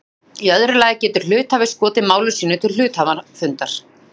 Í öðru lagi getur hluthafi skotið mál sínu til hluthafafundar.